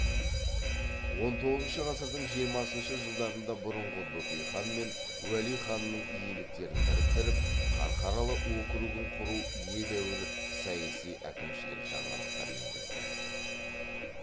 он тоғызыншы ғасырдың жиырмасыншы жылдарында бұрынғы бөкей хан мен уәли ханның иеліктерін біріктіріп қарқаралы округін құру едәуір саяси әкімшілік жаңалықтар енгізді